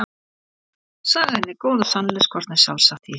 Sagan er góð og sannleikskorn er sjálfsagt í henni.